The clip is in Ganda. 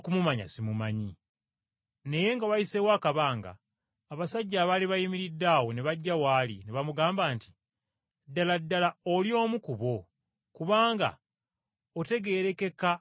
Naye nga wayiseewo akabanga, abasajja abaali bayimiridde awo ne bajja w’ali, ne bamugamba nti, “Ddala ddala oli omu ku bo, kubanga otegeerekeka olw’enjogera yo.”